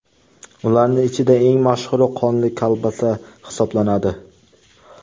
Ularning ichida eng mashhuri qonli kolbasa hisoblanadi.